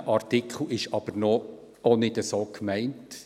Dieser Artikel ist aber auch nicht so gemeint;